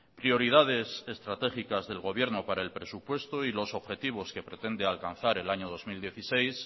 prioridades estratégicas del gobierno para el presupuesto y los objetivos que pretende alcanzar el año dos mil dieciséis